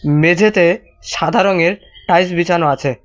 মেঝেতে সাদা রঙের টাইলস বিছানো আছে।